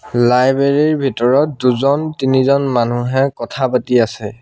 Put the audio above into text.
Library ৰ ভিতৰত দুজন তিনিজন মানুহ কথা পাতি আছে।